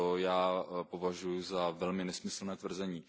To já považuji za velmi nesmyslné tvrzení.